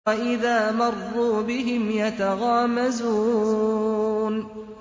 وَإِذَا مَرُّوا بِهِمْ يَتَغَامَزُونَ